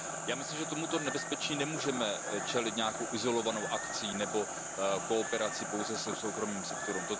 Já myslím, že tomuto nebezpečí nemůžeme čelit nějakou izolovanou akcí nebo kooperací pouze se soukromým sektorem.